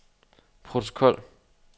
protokol